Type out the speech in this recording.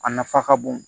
A nafa ka bon